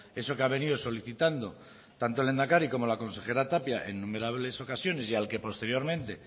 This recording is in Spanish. eso que ha venido solicitando tanto el lehendakari como la consejera tapia en innumerables ocasiones y al que posteriormente